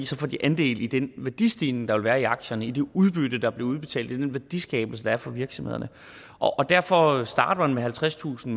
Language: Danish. så får de andel i den værdistigning der vil være i aktierne det udbytte der bliver udbetalt den værdiskabelse der er for virksomhederne og derfor starter vi med halvtredstusind